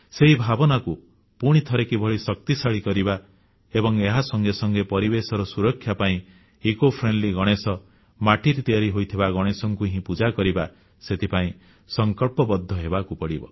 ସେହି ଭାବନାକୁ ପୁଣିଥରେ କିଭଳି ଶକ୍ତିଶାଳୀ କରିବା ଏବଂ ଏହା ସଙ୍ଗେ ସଙ୍ଗେ ପରିବଶେର ସୁରକ୍ଷା ପାଇଁ ଇକୋଫ୍ରେଣ୍ଡଲି ଗଣେଶ ମାଟିରେ ତିଆରି ହୋଇଥିବା ଗଣେଶଙ୍କୁ ହିଁ ପୂଜା କରିବା ସେଥିପାଇଁ ସଂକଳ୍ପବଦ୍ଧ ହେବାକୁ ପଡ଼ିବ